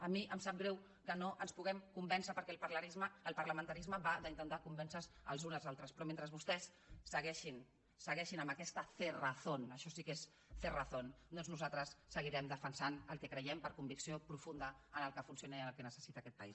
a mi em sap greu que no ens puguem convèncer perquè el parlamentarisme va d’intentar convèncer se els uns als altres però mentre vostès segueixin amb aquesta cerrazónnosaltres seguirem defensant el que creiem per convicció profunda el que funciona i el que necessita aquest país